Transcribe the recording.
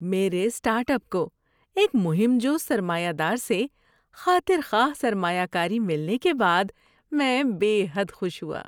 میرے startup کو ایک مہم جو سرمایہ دار سے خاطر خواہ سرمایہ کاری ملنے کے بعد میں بے حد خوش ہوا۔